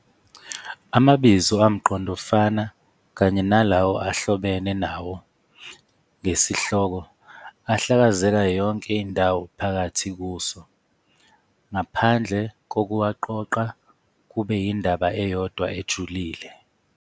Amabizo amqondofana Kanye nalawo ahlobene nawo ngesihloko ahlakazeka yonke indawo phakathi kuso, ngaphandle kokuwaqoqa kube indaba eyodwa ejulile.